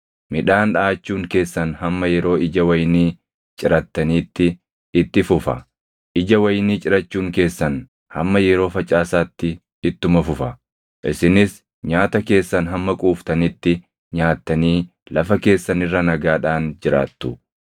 Midhaan dhaʼachuun keessan hamma yeroo ija wayinii cirattaniitti itti fufa; ija wayinii cirachuun keessan hamma yeroo facaasaatti ittuma fufa; isinis nyaata keessan hamma quuftanitti nyaattanii lafa keessan irra nagaadhaan jiraattu.